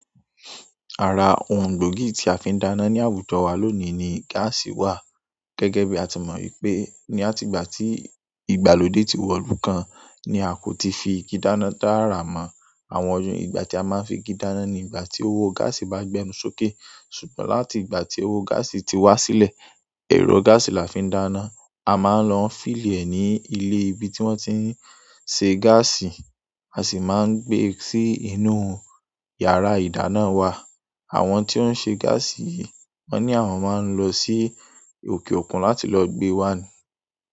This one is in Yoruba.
Ara ohun gbogi tí a fi ń dáná ní àwùjọ wa lónìí ni gáàsì wà. Gẹ́gẹ́ bí a tí mọ̀ wípé ní àtìgbà tí ìgbàlódé ti wọ́lú kan ni a kò ti fi igi dáná taara mọ́ àwọn ọdún ìgbà tí a máa ń fi igi dáná ní ìgbà tí owó gáàsì bá gbẹnu sókè. Ṣùgbọ́n láti ìgbà tí owó gáàsì ti wá sílẹ̀, ẹ̀rọ gáàsì la fi ń dáná. A máa ń lọ fílì è ní ilé ibi tí wọ́n ti ń ṣe gáàsì, a sì máa ń gbé e sí inú yàrá ìdáná wa. Àwọn ti o n se gasii yìí wọn ni àwọn maa n lọ si oke okun láti lọ gbe wa ni.